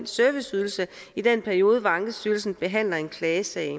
serviceydelsen i den periode hvor ankestyrelsen behandler en klagesag